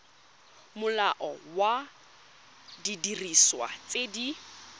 molao wa didiriswa tse di